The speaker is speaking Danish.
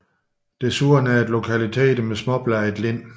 Desuden er der lokaliteter med småbladet lind